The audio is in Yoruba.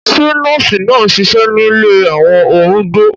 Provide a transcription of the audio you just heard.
Ṣé nọ́ọ̀sì náà ń ṣiṣẹ́ nílé àwọn arúgbó?